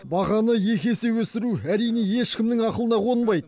бағаны екі есе өсіру әрине ешкімнің ақылына қонбайды